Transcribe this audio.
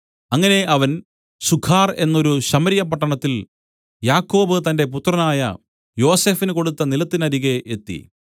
അങ്ങനെ അവൻ സുഖാർ എന്നൊരു ശമര്യ പട്ടണത്തിൽ യാക്കോബ് തന്റെ പുത്രനായ യോസഫിന് കൊടുത്ത നിലത്തിനരികെ എത്തി